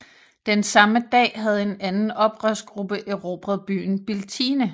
Den samme dag havde en anden oprørsgruppe erobret byen Biltine